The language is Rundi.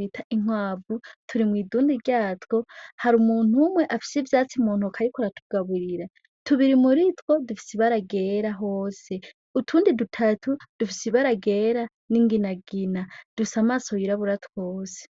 bita inkwavu turi mw'idunde ryatwo harumuntu umwe afise ivyatsi muntoki ariko aratugaburira tubiri muritwo dufise ibara ryera hose; utundi dutatu dufise ibara ryera n'inginagina dufise amaso yirabura twose.